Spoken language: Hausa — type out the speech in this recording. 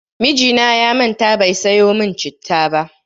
Mijina ya manta bai sayo min citta ba.